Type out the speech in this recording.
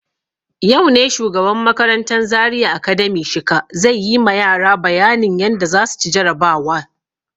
Yau ne shugaban makarantan Zaria Academy Shika zai yi ma yara bayanin yadda za su ci jarabawa.